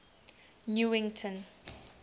newington